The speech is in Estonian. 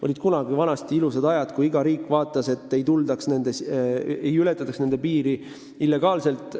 Olid kunagi ajad, kui iga riik vaatas, et tema piiri ei ületataks illegaalselt.